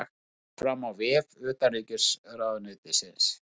Þetta kemur fram á vef utanríkisráðuneytisins